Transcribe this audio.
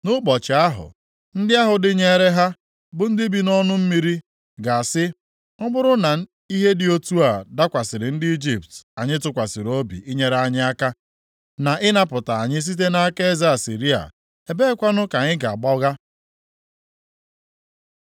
Nʼụbọchị ahụ, ndị ahụ dịnyeere ha, bụ ndị bi nʼọnụ mmiri ha ga-asị, ‘Ọ bụrụ na ihe dị otu a dakwasịrị ndị Ijipt anyị tụkwasịrị obi inyere anyị aka, na ịnapụta anyị site nʼaka eze Asịrịa, ebeekwanụ ka anyị ga-agbaga?’ ”